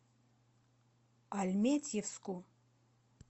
альметьевску